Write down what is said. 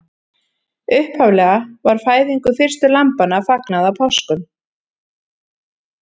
Upphaflega var fæðingu fyrstu lambanna fagnað á páskum.